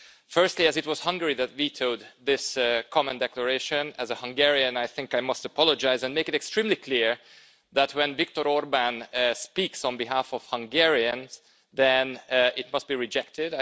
Firstly, as it was Hungary that vetoed this common declaration, as a Hungarian I think I must apologise and make it extremely clear that, when Viktor Orbán speaks on behalf of Hungarians, then it must be rejected.